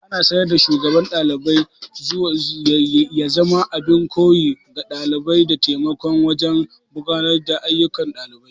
Ana sa ran Shugaban ɗalibai ya zama abin koyi ga ɗalibai, da taimaka wajen gudanar da ayyukan ɗalibai.